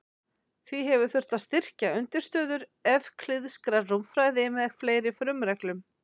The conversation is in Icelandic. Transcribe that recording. Því hefur þurft að styrkja undirstöður evklíðskrar rúmfræði með fleiri frumreglum.